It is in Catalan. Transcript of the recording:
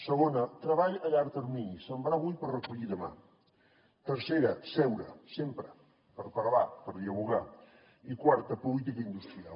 segona treball a llarg termini sembrar avui per recollir demà tercera seure sempre per parlar per dialogar i quarta política industrial